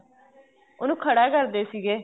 ਉਹਨੂੰ ਖੜਾ ਕਰਦੇ ਸੀਗੇ